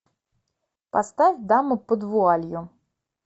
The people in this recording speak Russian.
поставь дама под вуалью